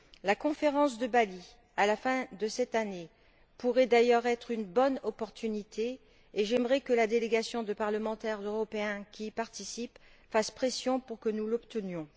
La conférence de Bali, à la fin de cette année, pourrait d'ailleurs être une bonne opportunité, et j'aimerais que la délégation de parlementaires européens qui y participe fasse pression pour que nous l'obtenions.